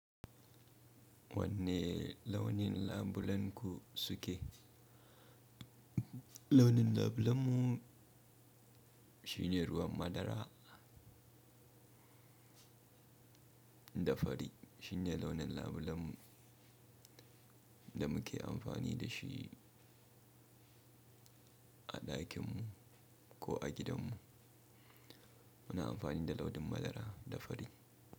Wanne launin labulenku suke? Launin labulenmu shine ruwan madara da fari. Shine launin labulen mu da muke amfani da shi a ɗakinmu ko a gidanmu. Muna amfani da launin madara da fari.